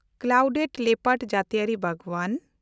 clouded leopard ᱡᱟᱹᱛᱤᱭᱟᱹᱨᱤ ᱵᱟᱜᱽᱣᱟᱱ